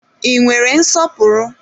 I nwere nsọpụrụ?